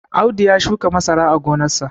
Audu ya shuka masara a gonarsa